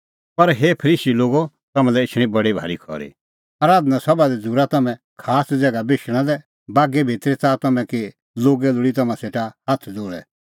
पर हे फरीसी लोगो तम्हां लै एछणी बडी भारी खरी आराधना सभा दी झ़ूरा तम्हैं खास ज़ैगा बेशणा लै बागै भितरी च़ाहा तम्हैं कि लोगै लोल़ी तम्हां सेटा हाथ ज़ोल़ै